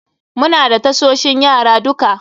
Muna da tasoshin yara duka.